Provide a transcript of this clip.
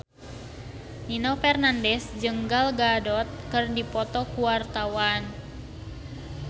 Nino Fernandez jeung Gal Gadot keur dipoto ku wartawan